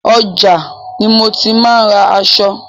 Ọjà ni mo ti máa ń ra aṣọ.